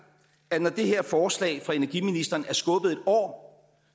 at når det her forslag fra energiministeren er skubbet en år